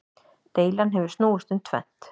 Deilan hefur snúist um tvennt.